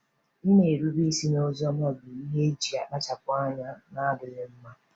Ịna-erube isi n’Oziọma bụ ihe eji akpachapụ anya na-adịghị mma.